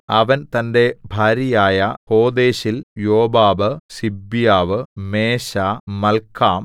അവൻ തന്റെ ഭാര്യയായ ഹോദേശിൽ യോബാബ് സിബ്യാവ് മേശാ മല്‍ക്കാം